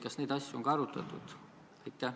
Kas neid asju on ka arutatud?